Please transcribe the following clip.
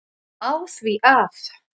á því að